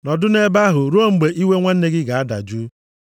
Nọdụ nʼebe ahụ ruo mgbe iwe nwanne gị ga-adajụ.